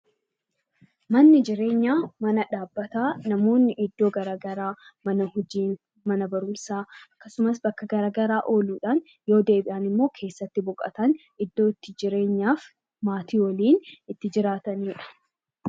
Manni jireenyaa mana dhaabbataa namoonni iddoo garaagaraa mana hojii, mana barumsaa , bakka garaagaraa ooluudhaan yeroo deebi'an immoo keessatti boqotan, iddoo itti jireenya maatii waliin itti jiraatanidha.